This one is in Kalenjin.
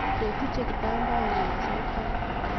ko tuche kitambaet mezet barak